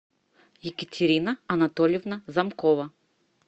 екатерина анатольевна замкова